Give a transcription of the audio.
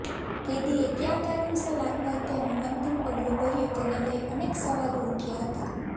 કેદીએ કયા કારણસર આત્મહત્યાનું અંતિમ પગલું ભર્યું તેને લઇ અનેક સવાલો ઉઠયા હતા